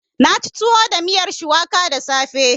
Na ci tuwo da miyar shuwaka da safe.